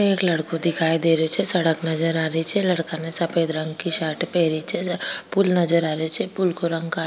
एक लड़को दिखाई दे रहियो छे सड़क नजर आ रही छे लड़का ने सफेद रंग की शर्ट पहरी छे पूल नजर आ रहियो छे पूल को रंग का --